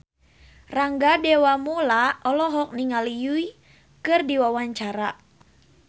Rangga Dewamoela olohok ningali Yui keur diwawancara